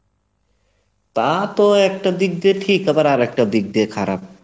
তা তো একটা দিক দিয়ে ঠিক, আবার একটা দিক দিয়ে খারাপ